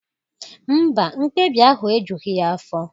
Mba, mkpebi ahụ ejughị ya afọ